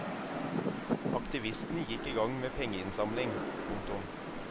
Aktivistene gikk i gang med pengeinnsamling. punktum